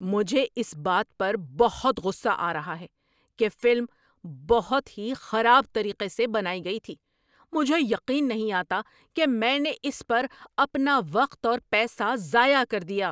مجھے اس بات پر بہت غصہ آ رہا ہے کہ فلم بہت ہی خراب طریقے سے بنائی گئی تھی۔ مجھے یقین نہیں آتا کہ میں نے اس پر اپنا وقت اور پیسہ ضائع کر دیا۔